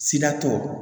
Sida tɔ